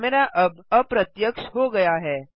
camera अब अप्रत्यक्ष हो गया है